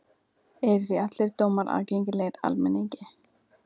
Eru því allir dómar aðgengilegir almenningi.